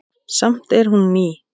Samt er hún ný.